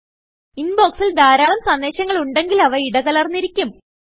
ഇൻബോക്സിൽ ധാരാളം സന്ദേശങ്ങൾ ഉണ്ടെങ്കിൽ അവ ഇടകലർന്നിരിക്കും